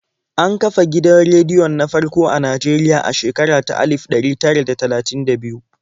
An kafa gidan rediyon na farko a Najeriya a shekara ta alif ɗari tara da talatin da biyu.